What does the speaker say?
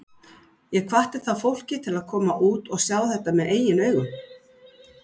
Ég hvatti þá fólkið til að koma út og sjá þetta með eigin augum.